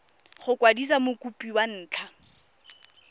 go kwadisa mokopi ka ntlha